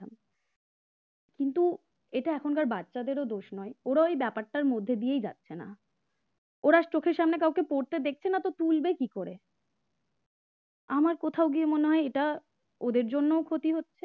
কিন্তু এটা এখনকার বাচ্চাদেরও দোষ নয়, ওরা ওই ব্যাপারটার মধ্যে দিয়েই যাচ্ছে না ওরা চোখের সামনে কাউকে পড়তে দেখছে না তো তুলবে কি করে আমার কোথাও গিয়ে মনে হয় এটা ওদের জন্য ক্ষতি হচ্ছে